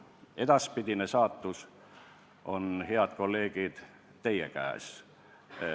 Selle edaspidine saatus on, head kolleegid, teie käes.